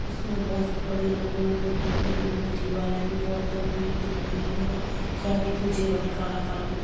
इसमें बहोत बड़े लंबे-लंबे टीन डले हुए है। दीवालें भी बोहत लंबी दिख रही हैं और साइड पीछे बहोत काला काला कुछ --